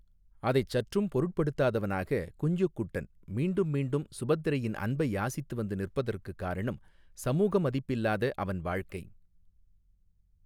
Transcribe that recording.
அதைச் சற்றும் பொருட்படுத்தாதவனாக குஞ்சுக்குட்டன் மீண்டும் மீண்டும் சுபத்திரையின் அன்பை யாசித்து வந்து நிற்பதற்குக் காரணம் சமூக மதிப்பில்லாத அவன் வாழ்க்கை.